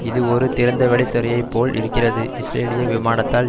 இது ஒரு திறந்தவெளி சிறையைப் போல இருக்கிறது இஸ்ரேலிய விமானத்தால்